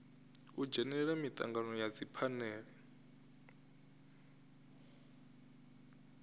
u dzhenela mitangano ya dziphanele